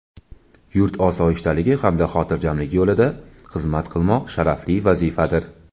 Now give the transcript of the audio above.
yurt osoyishtaligi hamda xotirjamligi yo‘lida xizmat qilmoq sharafli vazifadir.